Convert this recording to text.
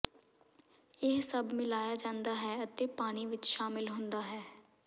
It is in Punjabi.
ਇਹ ਸਭ ਮਿਲਾਇਆ ਜਾਂਦਾ ਹੈ ਅਤੇ ਪਾਣੀ ਵਿੱਚ ਸ਼ਾਮਿਲ ਹੁੰਦਾ ਹੈ